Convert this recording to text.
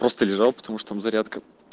просто лежал потому что там зарядка